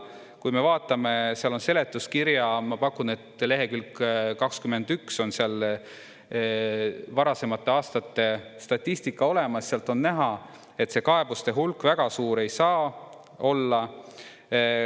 Kui me vaatame, seal on seletuskirjas ma pakun, et lehekülg 21 varasemate aastate statistika olemas, sealt on näha, et see kaebuste hulk väga suur ei saa olla.